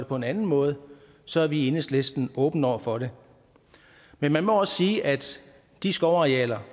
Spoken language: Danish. på en anden måde så er vi i enhedslisten åbne over for det men man må også sige at de skovarealer